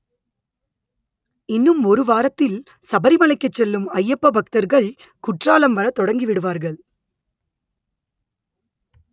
இன்னும் ஒரு வாரத்தில் சபரிமலைக்கு செல்லும் அய்யப்ப பக்தர்கள் குற்றாலம் வரத் தொடங்கி விடுவார்கள்